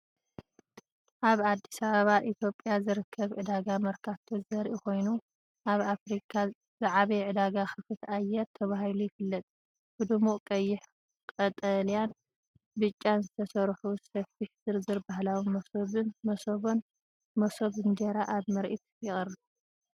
ኣብ ኣዲስ ኣበባ ኢትዮጵያ ዝርከብ ዕዳጋ መርካቶ ዘርኢ ኮይኑ፡ ኣብ ኣፍሪቃ ዝዓበየ ዕዳጋ ክፉት ኣየር ተባሂሉ ዝፍለጥ! ብድሙቕ ቀይሕ፣ ቀጠልያን ብጫን ዝተሰርሑ ሰፊሕ ዝርዝር ባህላዊ መሶብን መሶብን (መሶብ እንጀራ) ኣብ ምርኢት ይቐርብ!